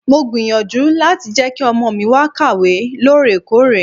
Mo gbìyànjú láti jẹ́ kí ọmọ mi máa kàwé lóòrèkóòrè.